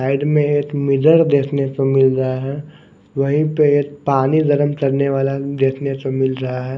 Side में एक mirror देखने को मिल रहा है वहीं पे ये पानी गर्म करने वाला देखने को मिल रहा है।